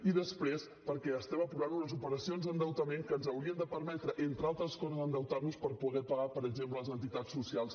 i després perquè estem aprovant unes operacions d’endeutament que ens haurien de permetre entre altres coses endeutar nos per poder pagar per exemple les entitats socials